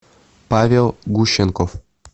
павел гущенков